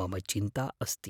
मम चिन्ता अस्ति।